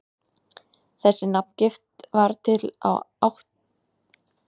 Þessi nafngift varð til á áttunda áratug tuttugustu aldar.